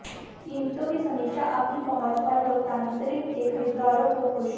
कीमतों की समीक्षा अपनी पहुंच और लोकतांत्रिक के खरीदारों को खुश